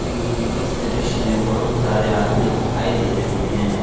इस दृश्य में बहुत सारे आदमी दिखाई दे रहे हैं।